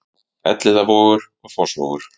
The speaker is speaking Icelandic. Elliðavogur og Fossvogur